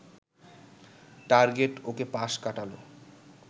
target ওকে পাশ কাটাল